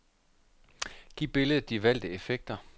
Giv billedet de valgte effekter.